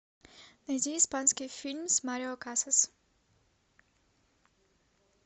найди испанский фильм с марио касас